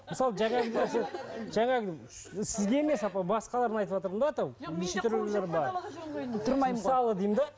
мысалы жаңағы нәрсе жаңағы сізге емес апа басқаларына айтватырмын да мысалы деймін де